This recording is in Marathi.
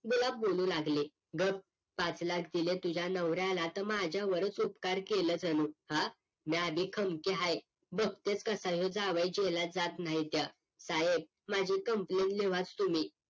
गुलाब बोलू लागली गप पाच लाख दिल तुझ्या नवऱ्याला त माझ्यावरच उपकार केलं जणू हं म्या भी खमकी आहे बघतेच कसा ह्यो जावई जेलात जात नाही त्य साहेब माझी complain लिव्हाच तुम्ही